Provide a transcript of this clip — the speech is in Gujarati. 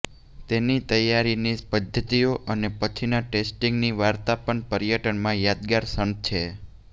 તેની તૈયારીની પધ્ધતિઓ અને પછીના ટેસ્ટિંગની વાર્તા પણ પર્યટનમાં યાદગાર ક્ષણ છે